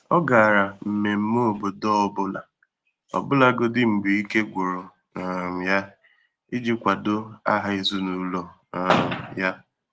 Ọ́ gàrà mmèmmé obodọ ọ bụ́lá, ọbụ́lagọdị́ mgbè íké gwụ̀rụ̀ um yá, ìjí kwàdò áhá èzínụ́lọ um yá.